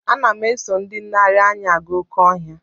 Ana m eso ndị nlereanya aga oké ọhịa.